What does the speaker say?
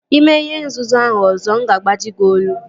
Ị mee ihe nzuzu ahụ ọzọ nga agbaji gị olu